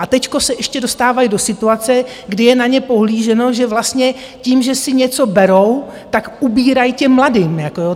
A teď se ještě dostávají do situace, kdy je na ně pohlíženo, že vlastně tím, že si něco berou, tak ubírají těm mladým.